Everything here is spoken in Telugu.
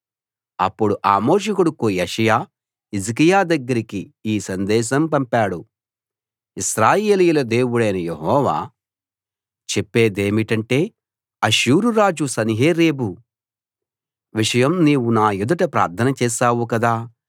అప్పుడు ఆమోజు కొడుకు యెషయా హిజ్కియా దగ్గరికి ఈ సందేశం పంపాడు ఇశ్రాయేలీయుల దేవుడైన యెహోవా చెప్పేదేమిటంటే అష్షూరు రాజు సన్హెరీబు విషయం నీవు నా ఎదుట ప్రార్థన చేశావు కదా